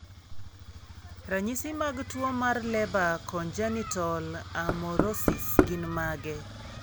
Ranyisi mag tuwo mar Leber congenital amaurosis gin mage?